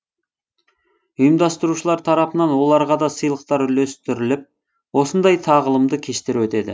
ұйымдастырушылар тарапынан оларға да сыйлықтар үлестіріліп осындай тағылымды кештер өтеді